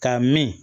Ka min